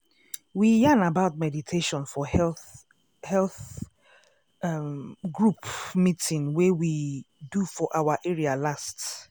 we yarn about meditation for health health um group meeting wey we do for our area last.